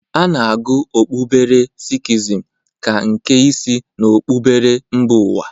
A na-agụ okpuberechi sikhizm ka nke ise n'okpuberechi mba ụwa.